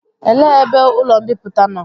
Elee ebe ụlọ mbipụta nọ?